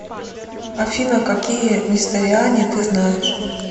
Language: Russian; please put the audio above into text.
афина какие несториане ты знаешь